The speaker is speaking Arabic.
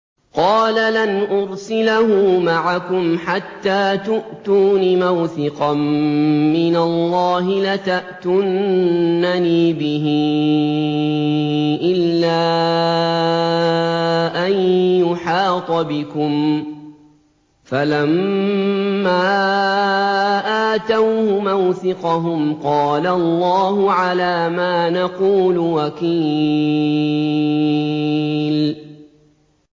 قَالَ لَنْ أُرْسِلَهُ مَعَكُمْ حَتَّىٰ تُؤْتُونِ مَوْثِقًا مِّنَ اللَّهِ لَتَأْتُنَّنِي بِهِ إِلَّا أَن يُحَاطَ بِكُمْ ۖ فَلَمَّا آتَوْهُ مَوْثِقَهُمْ قَالَ اللَّهُ عَلَىٰ مَا نَقُولُ وَكِيلٌ